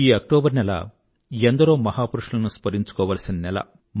ఈ అక్టోబర్ నెల ఎందరో మహాపురుషులను స్మరించుకోవాల్సిన నెల